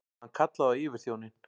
Hann kallaði á yfirþjóninn.